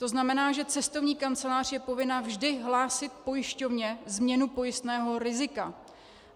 To znamená, že cestovní kancelář je povinna vždy hlásit pojišťovně změnu pojistného rizika.